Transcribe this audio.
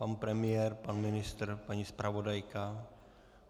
Pan premiér, pan ministr, paní zpravodajka?